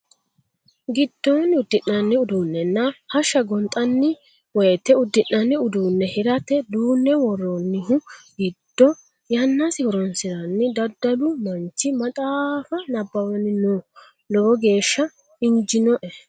Giddonni udi'nanni uduunenna hashsha gonxanni woyte udi'nanni uduune hirate duune woroonihu giddo yannasi horonsiranni dalaalu manchi maxaafa nabbawanni no lowo geeshsha injinoe.